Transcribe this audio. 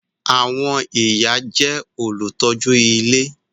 Àwọn ìyá jẹ́ olùtọ́jú ilé